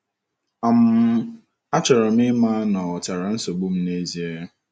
um Achọrọ m ịma na ọ ghọtara nsogbu m n’ezie.